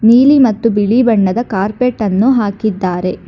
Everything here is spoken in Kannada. ನೀಲಿ ಮತ್ತು ಬಿಳಿ ಬಣ್ಣದ ಕಾರ್ಪೆಟ್ ಅನ್ನು ಹಾಕಿದ್ದಾರೆ.